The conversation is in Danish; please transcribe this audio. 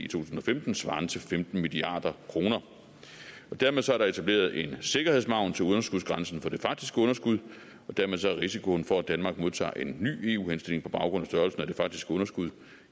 tusind og femten svarende til femten milliard kroner dermed er der etableret en sikkerhedsmargin til underskudsgrænsen for det faktiske underskud og dermed er risikoen for at danmark modtager en ny eu henstilling på baggrund af størrelsen af det faktiske underskud